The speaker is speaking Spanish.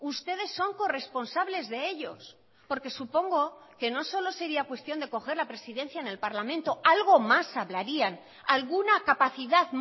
ustedes son corresponsables de ellos porque supongo que no solo sería cuestión de coger la presidencia en el parlamento algo más hablarían alguna capacidad